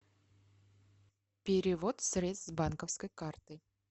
перевод средств с банковской карты